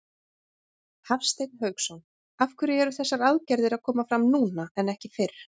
Hafsteinn Hauksson: Af hverju eru þessar aðgerðir að koma fram núna en ekki fyrr?